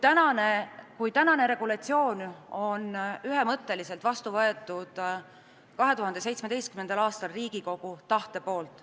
Senine regulatsioon on ühemõtteliselt vastu võetud 2017. aastal Riigikogu tahte kohaselt.